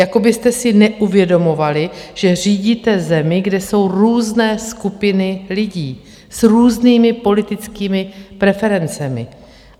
Jako byste si neuvědomovali, že řídíte zemi, kde jsou různé skupiny lidí s různými politickými preferencemi.